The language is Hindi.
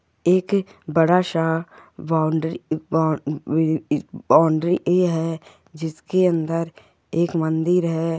एक बडासा बाउंड्री बाउंड्री ही है जिसकी अंदर एक मंदिर है।